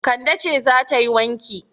Kande ce za ta yi wanki.